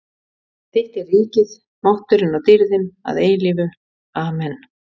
. því að þitt er ríkið, mátturinn og dýrðin að eilífu- Amen.